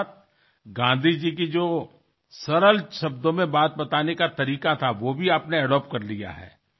त्याचबरोबर सोप्या शब्दात आपले मत मांडायची गांधीजींची जी पद्धत होती ती सुद्धा आपण अंगिकारली आहे